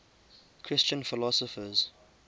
christian philosophers